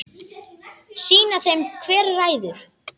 Sýna þeim hver ræður.